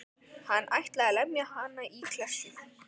Hann ætlaði að lemja hann í klessu.